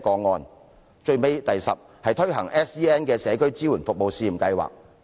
第十，政府應為有 SEN 的學生推行社區支援服務試驗計劃。